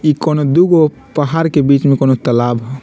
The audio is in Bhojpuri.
इ कोनो दुगो पहाड़ के बीच में कोनो तालाब हो।